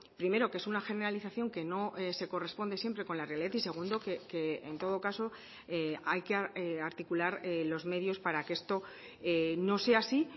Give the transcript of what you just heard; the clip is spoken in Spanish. primero que es una generalización que no se corresponde siempre con la realidad y segundo que en todo caso hay que articular los medios para que esto no sea así